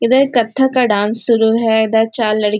इधर कथक का डांस शुरू है इधर चार लडकियाँ--